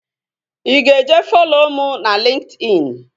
Ị ga-eje follo mụ na LinkedIn?